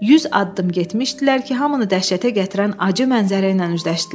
100 addım getmişdilər ki, hamını dəhşətə gətirən acı mənzərə ilə üzləşdilər.